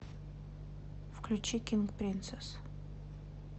включи кинг принцесс